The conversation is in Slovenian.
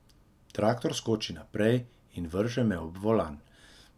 Traktor skoči naprej in vrže me ob volan.